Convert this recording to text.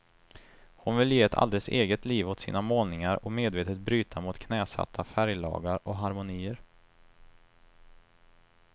Hon vill ge ett alldeles eget liv åt sina målningar och medvetet bryta mot knäsatta färglagar och harmonier.